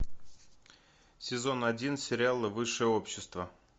сезон один сериала высшее общество